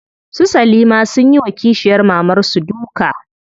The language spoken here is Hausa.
Su salima sunyi wa kishiyar mamar su duka.